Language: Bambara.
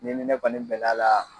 N'i ni ne kɔni bɛl'a la